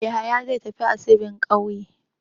Yahaya zai tafi asibin ƙauye.